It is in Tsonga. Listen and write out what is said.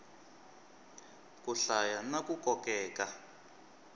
ku hlaya na ku kokeka